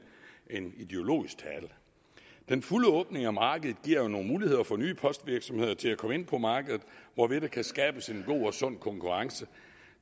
en ideologisk tale den fulde åbning af markedet giver jo nogle muligheder for nye postvirksomheder til at komme ind på markedet hvorved der kan skabes en god og sund konkurrence